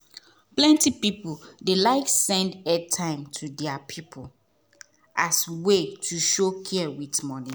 plenty people dey like send airtime to their people as way to show care with money.